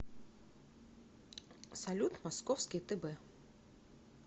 салют московский тб